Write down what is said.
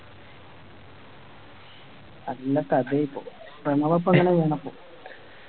നല്ല കഥയായിപ്പോ ഞമ്മളപ്പോ ഇങ്ങനെ പോന്നപ്പോ